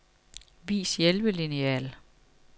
Vis hjælpelineal.